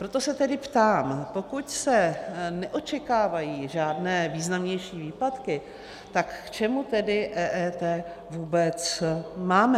Proto se tedy ptám: pokud se neočekávají žádné významnější výpadky, tak k čemu tedy EET vůbec máme?